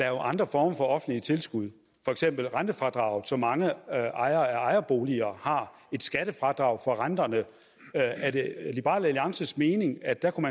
er andre former for offentlige tilskud for eksempel rentefradraget som mange ejere af ejerboliger har et skattefradrag for renterne er det liberal alliances mening at der kunne